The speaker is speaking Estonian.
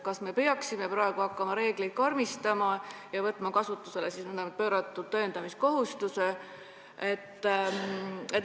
Kas me peaksime praegu hakkama reegleid karmistama ja võtma kasutusele pööratud tõendamiskohustuse?